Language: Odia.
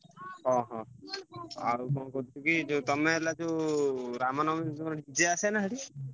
ହଁ ହଁ ଆଉ କଣ କହୁଥିଲିକି ଯୋଉ ତମେ ହେଲା ଯୋଉ ରାମନବମୀକି ଆସେନା ସେଠି?